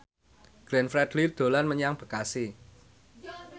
Glenn Fredly dolan menyang Bekasi